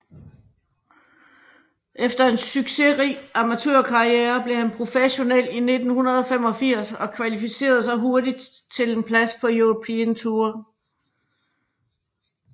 Efter en succesrig amatørkarriere blev han professionel i 1985 og kvalificerede sig hurtigt til en plads på European Tour